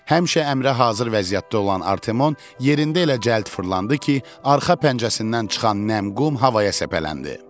Həmişə əmrə hazır vəziyyətdə olan Artemon yerində elə cəld fırlandı ki, arxa pəncəsindən çıxan nəmli qum havaya səpələndi.